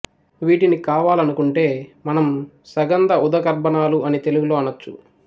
వీటిని కావాలనుకుంటే మనం సగంధ ఉదకర్బనాలు అని తెలుగులో అనొచ్చు